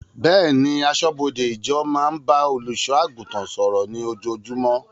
Bẹ́ẹ̀ni, aṣọ́bọdè ìjọ máa ń bá olùṣọ́ àgùntàn sọ̀rọ̀ ní ojoojúmọ́